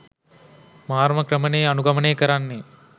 මාරම ක්‍රම නේ අනුගමනය කරන්නේ.